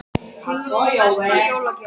Hugrún: Besta jólagjöfin?